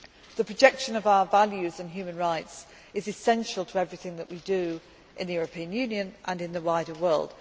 thread. The projection of our values and human rights is essential to everything that we do in the European Union and in the